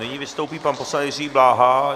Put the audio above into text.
Nyní vystoupí pan poslanec Jiří Bláha.